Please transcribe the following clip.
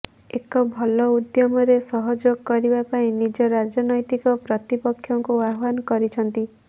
ଏକ ଭଲ ଉଦ୍ୟମରେ ସହଯୋଗ କରିବା ପାଇଁ ନିଜ ରାଜନୈତିକ ପ୍ରତିପକ୍ଷଙ୍କୁ ଆହ୍ୱାନ କରିଛନ୍ତି